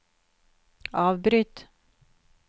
avbryt